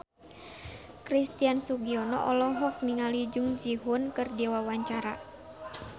Christian Sugiono olohok ningali Jung Ji Hoon keur diwawancara